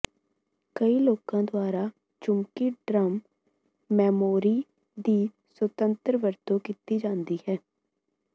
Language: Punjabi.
ਕਈ ਲੋਕਾਂ ਦੁਆਰਾ ਚੁੰਬਕੀ ਡ੍ਰਮ ਮੈਮੋਰੀ ਦੀ ਸੁਤੰਤਰ ਵਰਤੋਂ ਕੀਤੀ ਜਾਂਦੀ ਹੈ